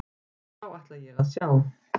Þá ætla ég að sjá.